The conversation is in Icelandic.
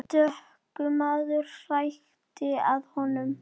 Stöku maður hrækti að honum.